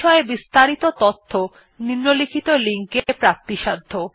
বিস্তারিত তথ্য নিম্নলিখিত লিঙ্ক এ প্রাপ্তিসাধ্য